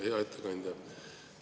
Hea ettekandja!